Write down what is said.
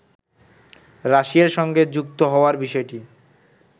রাশিয়ার সঙ্গে যুক্ত হওয়ার বিষয়টি